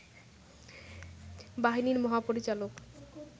বাহিনীর মহাপরিচালক